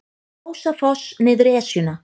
Ljósafoss niður Esjuna